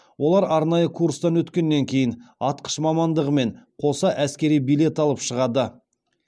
олар арнайы курстан өткеннен кейін атқыш мамандығымен қоса әскери билет алып шығады